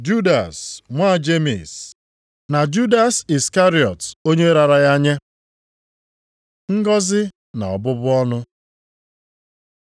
Judas nwa Jemis na Judas Iskarịọt onye raara ya nye. Ngọzị na ọbụbụ ọnụ